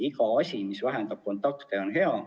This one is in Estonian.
Iga asi, mis vähendab kontakte, on hea.